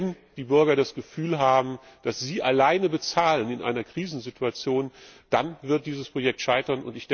Wenn die Bürger das Gefühl haben, dass sie alleine bezahlen in einer Krisensituation, dann wird dieses Projekt scheiten.